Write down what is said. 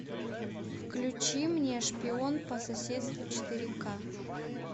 включи мне шпион по соседству четыре ка